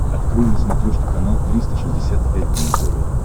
открой на смотрешке канал триста шестьдесят пять дней тв